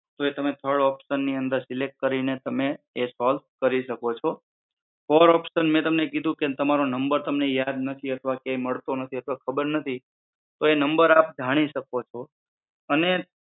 જો તમે થડ ઓપ્શનની અંદર સિલેક્ટ કરીને તમે એ સોલ્વ કરી શકો છો. ફોર ઓપ્શન મેં તમને કીધું કે તમારો તમને નંબર તમને યાદ નથી અથવા કઈ મળતો નથી અથવા ખબર નથી તો એ નંબર આપ જાણી શકો છો અને